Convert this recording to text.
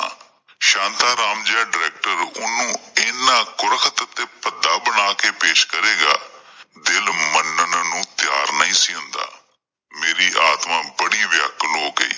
ਸ਼ਾਂਤਾ ਰਾਮ ਜਿਹਾ ਡਾਇਰੈਕਟਰ ਓਹਨੂੰ ਐਨਾਂ ਗੁਰਲਕ ਤੇ ਭੱਦਾ ਬਣ ਕੇ ਪੇਸ਼ ਕਰੇਗਾ ਦਿਲ ਮਨਣ ਨੂੰ ਤਿਆਰ ਨਹੀਂ ਸੀ ਹੁੰਦਾ ਮੇਰੀ ਆਤਮਾ ਬੜੀ ਵਿਆਕੁਲ ਹੋ ਗਈ।